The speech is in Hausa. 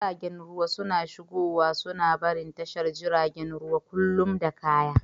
Jiragen ruwa suna shigowa suna barin tashar jiragen ruwa kullum da kaya.